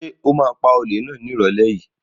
Ṣo ma pa olè náà ní ìrọ̀lẹ́ yìí?